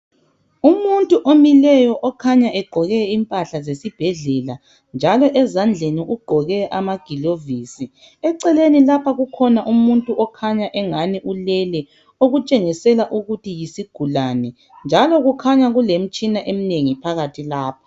Umuntu omileyo okhanya egqoke impahla zesibhedlela njalo ezandleni ugqoke amagilovisi. Eceleni lapha kukhona umuntu okhanya engani ulele okutshengisela ukuthi yisigulane njalo kukhanya kulemtshina emnengi phakathi lapha.